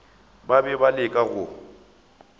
ba be ba leka go